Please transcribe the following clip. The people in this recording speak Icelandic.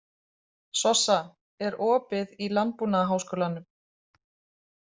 Sossa, er opið í Landbúnaðarháskólanum?